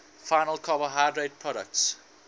final carbohydrate products